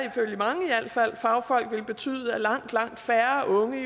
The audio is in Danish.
ifølge mange fagfolk betyde at langt langt færre unge